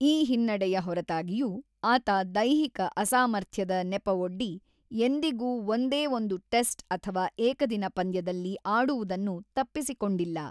ಈ ಹಿನ್ನಡೆಯ ಹೊರತಾಗಿಯೂ, ಆತ ದೈಹಿಕ ಅಸಾಮರ್ಥ್ಯದ ನೆಪವೊಡ್ಡಿ ಎಂದಿಗೂ ಒಂದೇ ಒಂದು ಟೆಸ್ಟ್ ಅಥವಾ ಏಕದಿನ ಪಂದ್ಯದಲ್ಲಿ ಆಡುವುದನ್ನು ತಪ್ಪಿಸಿಕೊಂಡಿಲ್ಲ.